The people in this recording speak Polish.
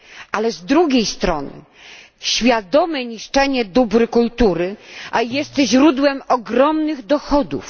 Ale z drugiej strony, świadome niszczenie dóbr kultury jest źródłem ogromnych dochodów.